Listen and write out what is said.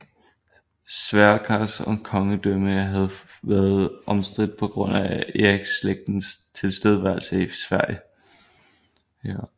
Sverkers kongedømme havde været omstridt på grund af Eriksslægtens tilstedeværelse i Sverige